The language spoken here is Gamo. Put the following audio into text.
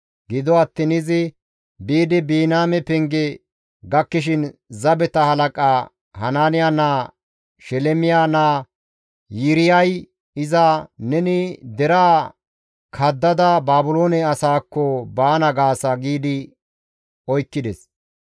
Gido attiin izi biidi Biniyaame Penge gakkishin zabeta halaqa Hanaaniya naaza Shelemiya naa Yiiriyay iza, «Neni deraa kaddada Baabiloone asaakko baana gaasa!» giidi oykkides.